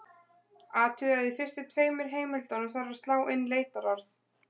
Athugið að í fyrstu tveimur heimildunum þarf að slá inn leitarorð.